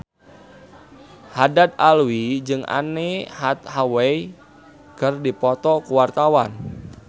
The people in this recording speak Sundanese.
Haddad Alwi jeung Anne Hathaway keur dipoto ku wartawan